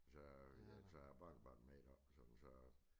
Så så er æ barnebarn med deroppe og sådan så